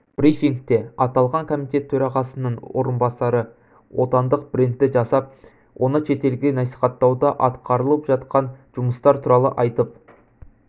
брифингте аталған комитет төрағасының орынбасары отандық брендтті жасап оны шетелге насихаттауда атқарылып жатқан жұмыстар туралы айтып